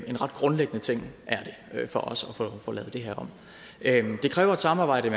en ret grundlæggende ting for os at få lavet det her om det kræver et samarbejde